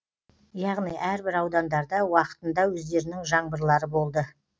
яғни әрбір аудандарда уақытында өздерінің жаңбырлары болды